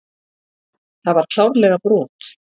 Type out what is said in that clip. Það var klárlega brot.